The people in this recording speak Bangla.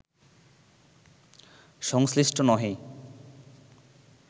সংশ্লিষ্ট নহে